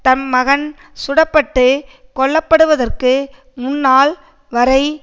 தம் மகன் சுட பட்டு கொல்ல படுவதற்கு முன்னால் வரை